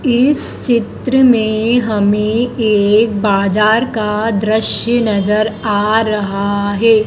इस चित्र में हमें एक बाजार का दृश्य नजर आ रहा है।